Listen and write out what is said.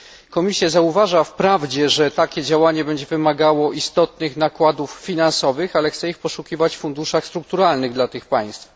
Komisja zauważa wprawdzie, że takie działanie będzie wymagało istotnych nakładów finansowych, ale chce ich poszukiwać w funduszach strukturalnych dla tych państw.